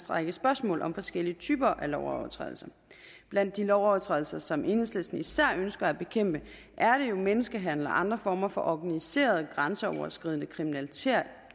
række spørgsmål om forskellige typer af lovovertrædelser blandt de lovovertrædelser som enhedslisten især ønsker at bekæmpe er jo menneskehandel og andre former for organiseret grænseoverskridende kriminalitet